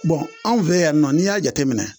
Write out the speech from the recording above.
Bɔn anw fɛ yan nɔ n'i y'a jateminɛ